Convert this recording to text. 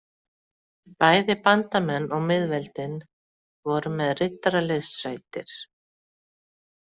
Bæði bandamenn og miðveldin voru með riddaraliðssveitir.